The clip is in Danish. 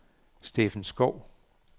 Steffen Schou